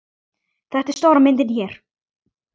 Þetta er stóra myndin hér.